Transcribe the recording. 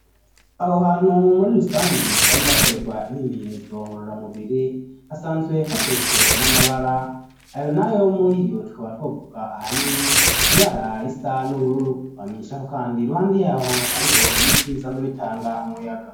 Aho hantu muri rusangi hasanze hakorerwa imimenyerezo ngorora mubiri hasanzwe hashirijwe n'amabara ayo nayo muri iyo tukaba twovuka ahanini ibara rista n'ubururu bamenyishaho, kandi ruhande yaho hariho ibiti bisanze bitanga umuyaga.